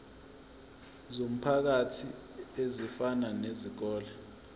zomphakathi ezifana nezikole